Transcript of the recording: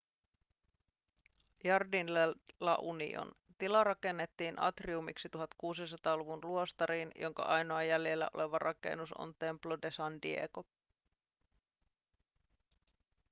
jardín de la unión. tila rakennettiin atriumiksi 1600-luvun luostariin jonka ainoa jäljellä oleva rakennus on templo de san diego